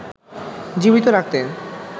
জীবিত রাখতে